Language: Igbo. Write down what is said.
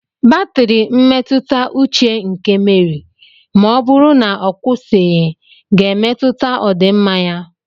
Batrị mmetụta uche nke Meri ma ọ bụrụ na ọ kwụsịghị ga-emetụta ọdịmma ya.